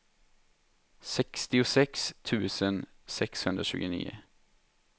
sextiosex tusen sexhundratjugonio